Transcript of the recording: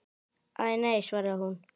Æ, nei svaraði hún.